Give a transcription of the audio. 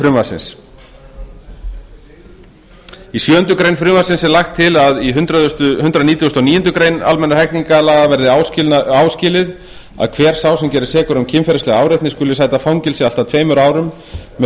frumvarpsins í sjöundu greinar frumvarpsins er lagt til að í hundrað nítugasta og níundu grein almennra hegningarlaga verði áskilið að hver sá sem gerist sekur um kynferðislega áreitni skuli sæta fangelsi allt að tveimur árum með